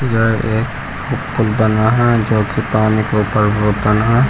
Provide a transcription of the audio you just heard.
यह एक उ पुल बना है जो की पानी के ऊपर रोड बना है।